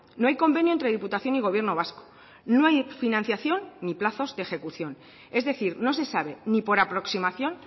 no hay convenio entre diputación y gobierno vasco no hay financiación ni plazos de ejecución es decir no se sabe ni por aproximación